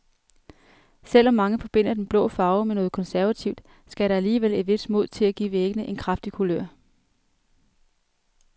Selv om mange forbinder den blå farve med noget konservativt, skal der alligevel et vist mod til at give væggene en kraftig kulør.